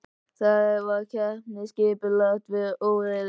Þetta var keppni skipulags við óreiðu.